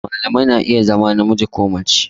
Malamai na iya zama namiji ko mace